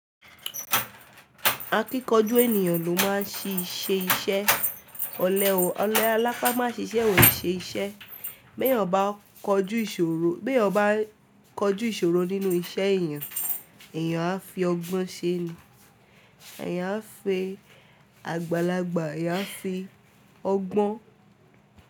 Akíkanjú ènìyàn ló máa ń ṣíṣe iṣẹ́. Olè alápa máa ṣiṣẹ́ ò ó ṣe iṣẹ́. Bí èèyàn bá kojú ìṣòro nínú iṣẹ́ èèyàn, èèyàn á fi ọgbọ́n ṣe ni, èèyàn á fi àgbàlagbà, èèyàn á fi ọgbọ́n.